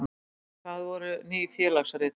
Hvað voru Ný félagsrit?